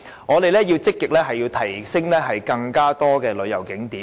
我們要積極提升更多的旅遊景點。